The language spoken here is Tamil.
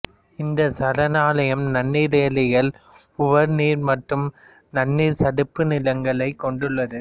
இந்த சரணாலயம் நன்னீர் ஏரிகள் உவர் நீர் மற்றும் நன்னீர் சதுப்பு நிலங்களை கொண்டுள்ளது